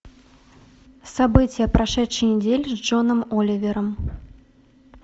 события прошедшей недели с джоном оливером